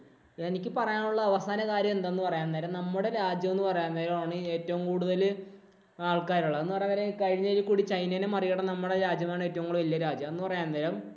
എനിക്ക് പറയാനുള്ള അവസാന കാര്യമെന്തെന്ന് പറയാൻ നേരം നമ്മുടെ രാജ്യം എന്നു പറയാൻ നേരം ആണ് ഏറ്റവും കൂടുതല് ആള്‍ക്കാരുള്ളത്. എന്ന് പറയാന്‍ നേരം ചൈനേനെ കൂടെ മറികടന്നു നമ്മുടെ രാജ്യം ആണ് ഏറ്റവും കൂടുതല്‍ വല്യരാജ്യം എന്ന് പറയാന്‍ നേരം